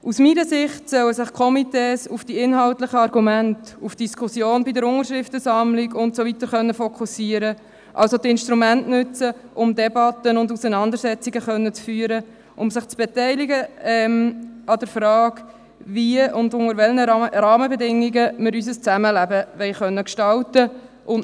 Aus meiner Sicht sollen sich die Komitees auf die inhaltlichen Argumente, auf Diskussionen bei der Unterschriftensammlung und so weiter fokussieren, das heisst, die Instrumente nutzen, um Debatten und Auseinandersetzungen führen zu können, und um sich an der Frage beteiligen zu können, wie und unter welchen Rahmenbedingungen wir unser Zusammenleben gestalten wollen.